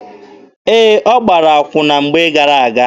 Ee, ọ gbara akwụna mgbe gara-aga.